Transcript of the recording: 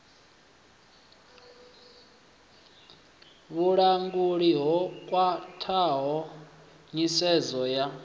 vhulanguli ho khwathaho nyisedzo ya